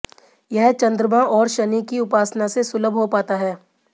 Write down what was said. यह चन्द्रमा और शनि की उपासना से सुलभ हो पाता है